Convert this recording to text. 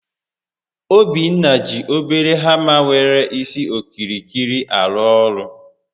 Obinna ji obere hama nwere isi okirikiri arụ ọrụ